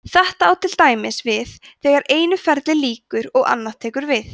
þetta á til dæmis við þegar einu ferli lýkur og annað tekur við